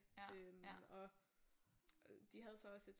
Og de havde så også et